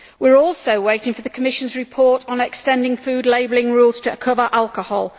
We are also waiting for the Commission's report on extending food labelling rules to cover alcohol.